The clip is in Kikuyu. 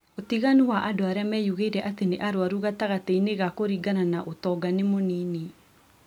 Ũtiganu wa andũ arĩa meyugĩire atĩ nĩ arwaru gatagatĩ-inĩ ga kũringana na ũtonga nĩ mũnini